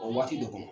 O waati de kɔnɔ